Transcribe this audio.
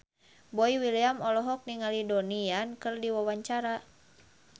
Boy William olohok ningali Donnie Yan keur diwawancara